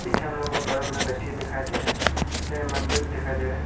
पीछे हम लोग को बड़ा बड़ा गच्छी दिखाई दे रहा है पीछे मंदिर भी दिखाई दे रहा है।